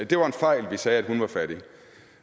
det var en fejl at vi sagde hun var fattig